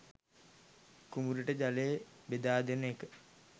කුඹුරට ජලය බෙදාදෙන එක.